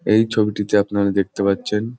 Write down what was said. এই ছবিটিতে আপনারা দেখতে পাচ্ছেন --